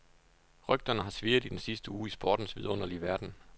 Rygterne har svirret i den sidste uge i sportens vidunderlige verden.